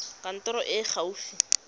kantorong e e fa gaufi